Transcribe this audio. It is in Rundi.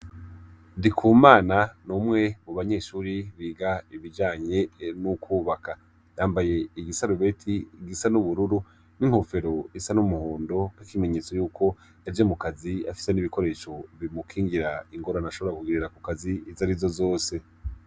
Ndikumana n'umwe mu banyeshuri biga ibijanye n'ukwubaka yambaye igisa arubeti igisa n'ubururu n'inkofero isa n'umuhondo kw'ikimenyetso yuko yaje mukazi afise n'ibikoresho bimukingira ingorano ashobora kugirira ku kazi izi ari zo zose.